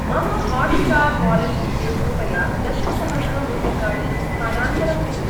मम Hotstar wallet कृते कृपया दशसहस्रं रूप्यकाणि स्थानान्तरं कुरु।